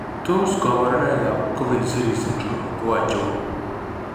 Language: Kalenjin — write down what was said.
Tos kabarunoik ab Coffin Siris syndrome ko achon?